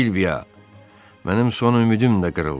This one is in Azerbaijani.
Silviya, mənim son ümidim də qırıldı.